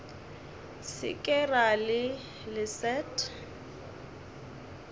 se ke ra le leset